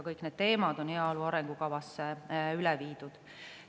Kõik need teemad on heaolu arengukavasse üle viidud.